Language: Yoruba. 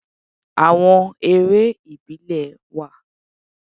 Àwon eré ìbílẹ̀ wà